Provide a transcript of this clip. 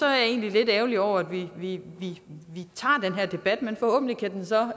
jeg egentlig lidt ærgerlig over at vi tager den her debat men forhåbentlig kan den så